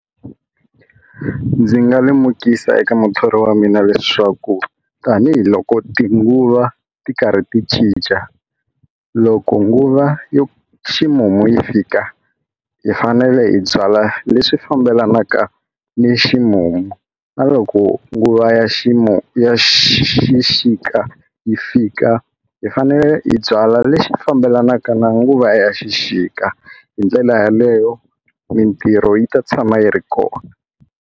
Ndzi nga lemukisa eka muthori wa mina leswaku tanihiloko tinguva ti karhi ti cinca loko nguva yo ximumu yi fika hi fanele hi byala leswi fambelanaka ni ximumu na loko nguva ya ximumu ya xixika yi fika hi fanele hi byala lexi fambelanaka na nguva ya xixika hi ndlela yaleyo mintirho yi ta tshama yi ri kona.